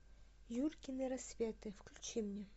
юркины рассветы включи мне